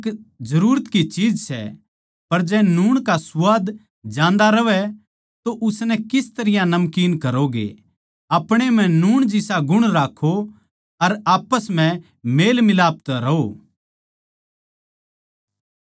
नूण एक जरूरत की चीज सै पर जै नूण का सुवाद जांदा रहवै तो उसनै किस तरियां नमकीन करोगे आपणे म्ह नूण जिसा गुण राक्खो अर आप्पस म्ह मेलमिलाप तै रहो